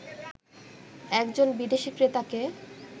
একজন বিদেশি ক্রেতাকে